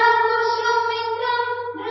ShasyashamalanMataram